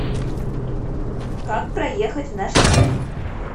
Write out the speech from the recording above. как проехать в наш отель